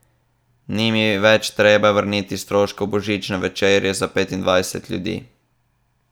Ni mi več treba vrniti stroškov božične večerje za petindvajset ljudi.